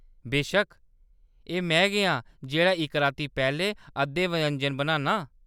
बेशक्क, एह्‌‌ में गै आं जेह्‌‌ड़ा इक राती पैह्‌‌‌लें अद्धे व्यंजन बनान्नां।